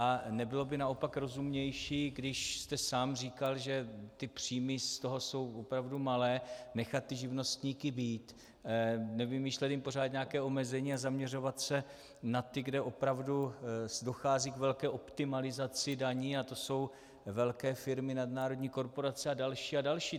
A nebylo by naopak rozumnější, když jste sám říkal, že ty příjmy z toho jsou opravdu malé, nechat ty živnostníky být, nevymýšlet jim pořád nějaká omezení a zaměřovat se na ty, kde opravdu dochází k velké optimalizaci daní, a to jsou velké firmy, nadnárodní korporace a další a další?